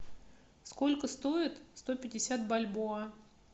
сколько стоят сто пятьдесят бальбоа